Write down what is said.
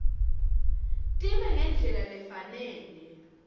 time ngendlela lefanele